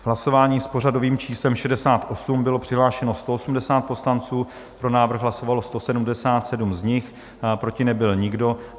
V hlasování s pořadovým číslem 68 bylo přihlášeno 180 poslanců, pro návrh hlasovalo 177 z nich, proti nebyl nikdo.